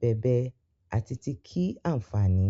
bèbe ati ti kii-anfani.